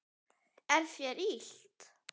Er þér illt?